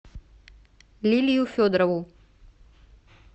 лилию федорову